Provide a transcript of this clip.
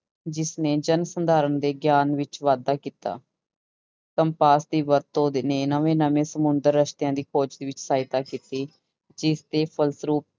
ਜਿਸਨੇ ਜਨ ਸੰਧਾਰਣ ਦੇ ਗਿਆਨ ਵਿੱਚ ਵਾਧਾ ਕੀਤਾ ਕੰਪਾਸ ਦੀ ਵਰਤੋਂ ਨੇ ਨਵੇਂ ਨਵੇਂ ਸਮੁੰਦਰ ਰਸਤਿਆਂ ਦੀ ਖੋਜ ਦੇ ਵਿੱਚ ਸਹਾਇਤਾ ਕੀਤੀ ਜਿਸਦੇ ਫਲਸਰੂਪ